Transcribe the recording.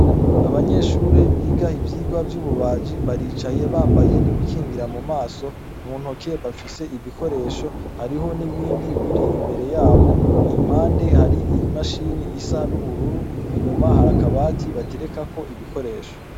Abanyeshure biga ivyigwa vy'ububaji baricaye bambaye n'ibikingira mu maso mu ntoke bafise ibikoresho hariho n'ibindi biri imbere yabo impande hari i imashini isa n'ubururu inyuma hariakabati baterekako ibikoresho.